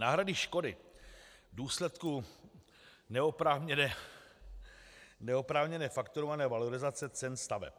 Náhrady škody v důsledku neoprávněně fakturované valorizace cen staveb.